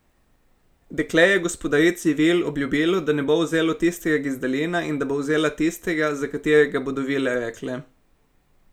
Dekle je gospodarici vil obljubilo, da ne bo vzelo tistega gizdalina in da bo vzela tistega, za katerega bodo vile rekle.